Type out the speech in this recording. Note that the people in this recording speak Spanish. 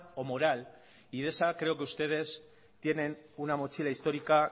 o moral y de esa creo que ustedes tienen una mochila histórica